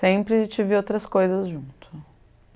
Sempre tive outras coisas junto.